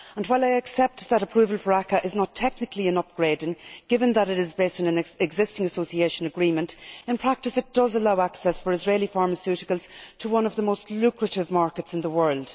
While I accept that approval for ACAA is not technically an upgrading, given that it is based on an existing Association Agreement, in practice it does allow access for Israeli pharmaceuticals to one of the most lucrative markets in the world.